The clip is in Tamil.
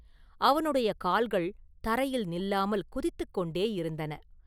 அவனுடைய கால்கள் தரையில் நில்லாமல் குதித்துக் கொண்டேயிருந்தன.